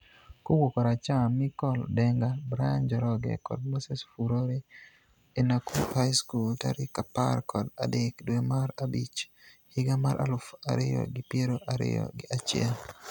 Kowuok koracham Michael Denga, Brian Njoroge kod Moses Furore e Nakuru High school tarik apar kod adek dwe mar achich higa mar aluf ariyo gi piero ariyo gi achiel.